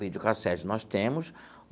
Videocassete nós temos.